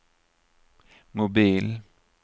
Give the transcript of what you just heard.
mobil